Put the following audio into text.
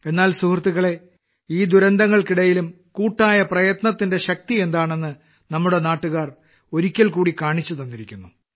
എന്നാൽ സുഹൃത്തുക്കളേ ഈ ദുരന്തങ്ങൾക്കിടയിലും കൂട്ടായ പ്രയത്നത്തിന്റെ ശക്തി എന്താണെന്ന് നമ്മുടെ നാട്ടുകാർ ഒരിക്കൽക്കൂടി കാണിച്ചുതന്നിരിക്കുന്നു